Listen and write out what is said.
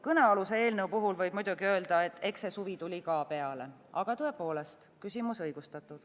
Kõnealuse eelnõu puhul võib muidugi öelda, et eks see suvi tuli ka peale, aga tõepoolest, küsimus on õigustatud.